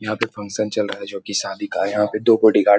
यहाँ पे फंक्शन चल रहा है जो कि शादी का है। यहाँ पे दो बॉडीगार्ड --